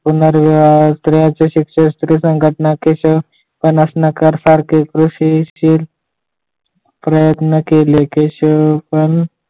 पुनर्विवाह स्त्री संघटना स्त्रियांचे शिक्षण केशव पनासनीकर सारखे कृषीशील प्रयत्न केले केशवपण